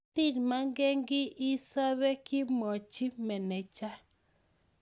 matimakenkiy isobe, kimwachi meneja